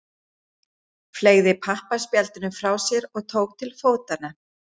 Fleygði pappaspjaldinu frá sér og tók til fótanna.